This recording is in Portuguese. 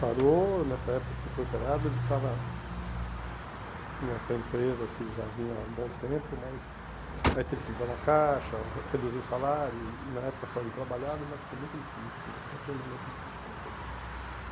Parou, nessa época que foi operado ele estava nessa empresa que já vinha há um bom tempo, mas aí teve que entrar na caixa, re reduziu o salário, e e na época só ele trabalhava, ainda ficou muito difícil, então foi um momento difícil na vida da gente.